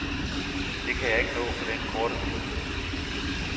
Det kan jeg ikke nå på den korte tid.